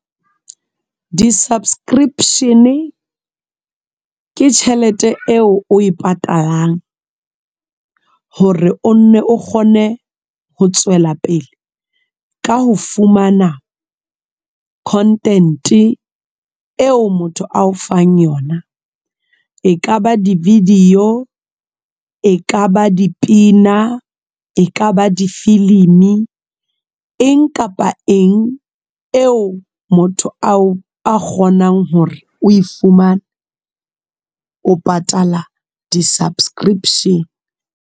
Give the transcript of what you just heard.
Di_subscription ke tjhelete eo o e patalang hore o nne o kgone ho tswela pele ka ho fumana content eo motho ao fang yona e ka ba di-video, e ka ba dipina, e ka ba difilimi, e eng kapa eng eo motho ao a kgonang hore o fumane o patala di-subscription.